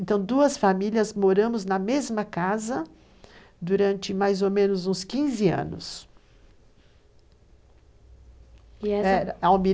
Então, duas famílias moramos na mesma casa durante mais ou menos uns 15 anos.